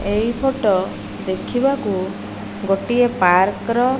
ଏଇ ଫୋଟୋ ଦେଖିବାକୁ ଗୋଟିଏ ପାର୍କ ର --